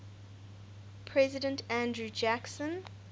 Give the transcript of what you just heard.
president andrew jackson